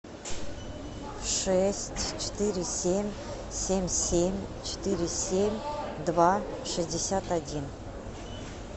шесть четыре семь семь семь четыре семь два шестьдесят один